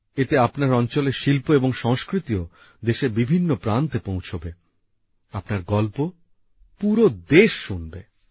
এতে আপনার অঞ্চলের শিল্প এবং সংস্কৃতিও দেশের বিভিন্ন প্রান্তে পৌছবে আপনার গল্প পুরো দেশ শুনবে